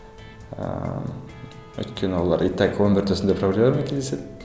ыыы өйткені олар и так өмірде осындай проблемалармен кездеседі